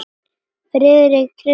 Friðrik treysti honum ekki.